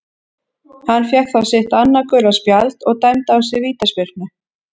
Hann fékk þá sitt annað gula spjald og dæmda á sig vítaspyrnu.